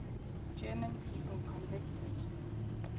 german people convicted